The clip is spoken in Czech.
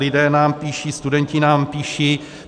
Lidé nám píší, studenti nám píší.